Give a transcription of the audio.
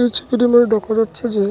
এই ছবিটির মধ্যে দেখা যাচ্ছে যে